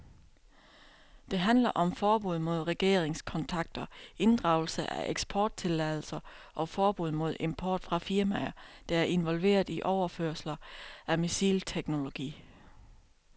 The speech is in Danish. Det handler om forbud mod regeringskontakter, inddragelse af eksporttilladelser og forbud mod import fra firmaer, der er involveret i overførelser af missilteknologi.